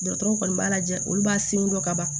Dɔgɔtɔrɔw kɔni b'a lajɛ olu b'a sin dɔ ka ban